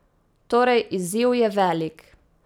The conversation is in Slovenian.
Torej izziv je velik.